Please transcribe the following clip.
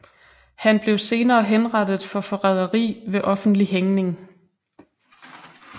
Han blev senere henrettet for forræderi ved offentlig hængning